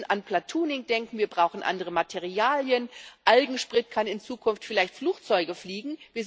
Wir müssen an Platooning denken, wir brauchen andere Materialien, Algensprit kann in Zukunft vielleicht Flugzeuge fliegen.